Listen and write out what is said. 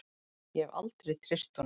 Ég hef aldrei treyst honum.